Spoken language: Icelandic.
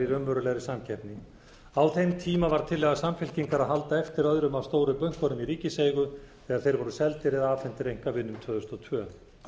raunverulegri samkeppni á þeim tíma var tillaga samfylkingar að halda eftir öðrum af stóru bönkunum í ríkiseigu þegar þeir voru seldir eða afhentir einkavinum tvö þúsund og tvö